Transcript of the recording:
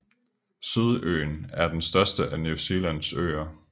Sydøen er den største af New Zealands øer